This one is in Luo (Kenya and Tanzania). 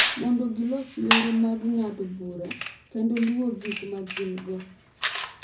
Mondo gilos yore mag ng’ado bura kendo luwo gik ma gin-go,